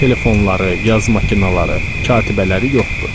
Telefonları, yazma kinaları, katibələri yoxdu.